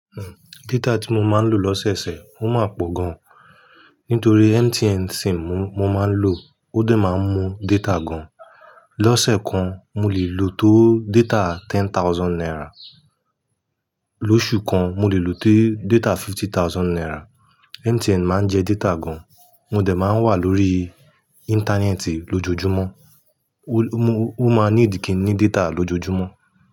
Hmm, data tí mo máa ń lò lọ́sẹ̀ẹ̀sẹ̀, ó máa pọ̀ gan. Nítorí MTN sim mo máa ń lò ó dà máa ń mú data gan. Lọ́sẹ̀ kan, mo lè lò tó data ten thousand naira. Lóṣù kan, mo lè lò tó data fifty thousand naira. MTN máa ń jẹ data gan. Mo dẹ̀ máa ń wà lórí íńtánẹ́ẹ̀tì lójoojúmọ́. Ó máa ní ìdí kí n ní data lójoojúmọ́